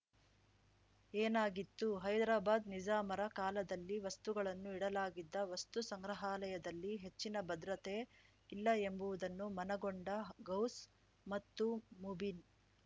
ಏನಾಗಿತ್ತು ಹೈದ್ರಾಬಾದ್‌ ನಿಜಾಮರ ಕಾಲದಲ್ಲಿ ವಸ್ತುಗಳನ್ನು ಇಡಲಾಗಿದ್ದ ವಸ್ತು ಸಂಗ್ರಹಾಲಯದಲ್ಲಿ ಹೆಚ್ಚಿನ ಭದ್ರತೆ ಇಲ್ಲ ಎಂಬುವುದನ್ನು ಮನಗೊಂಡ ಗೌಸ್‌ ಮತ್ತು ಮುಬೀನ್‌